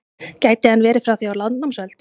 Gæti hann verið frá því á landnámsöld?